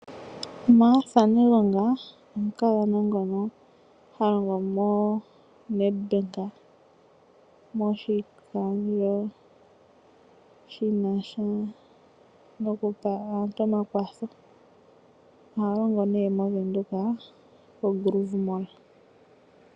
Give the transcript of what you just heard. Martha Negonga omukadhona ngono ha longo moNetbank moshikandjo shinasha nokupa aantu omakwatho ohalongo moWindhoek koGrove mall.